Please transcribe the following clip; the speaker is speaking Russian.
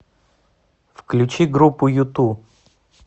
включи группу юту